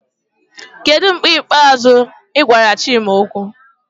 Kedu mgbe ikpeazụ ị gwara Chima okwu?